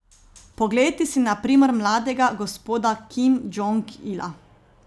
Poglejte si na primer mladega gospoda Kim Džong Ila.